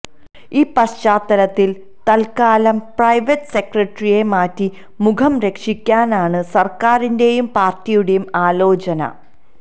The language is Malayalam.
ഈ പശ്ചാത്തലത്തിൽ തൽക്കാലം പ്രൈവറ്റ് സെക്രട്ടറിയെ മാറ്റി മുഖം രക്ഷിക്കാനാണു സർക്കാരിന്റെയും പാർട്ടിയുടെയും ആലോചന